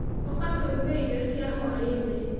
Ũka tũruge irio cia hwaĩ-inĩ.